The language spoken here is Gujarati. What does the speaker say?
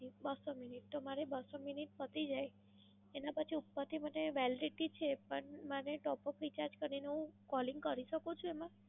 બસો મિનિટ. તો મારે બસો મિનિટ પતી જાય એના પછી પછી મને Validity છે પણ મને Top up recharge કરીને હું Calling કરી શકું છું એમાં?